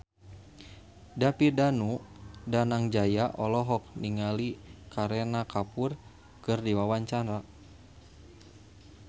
David Danu Danangjaya olohok ningali Kareena Kapoor keur diwawancara